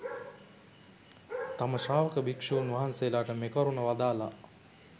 තම ශ්‍රාවක භික්ෂූන් වහන්සේලාට මෙකරුණ වදාළා